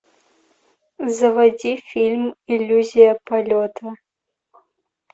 заводи фильм иллюзия полета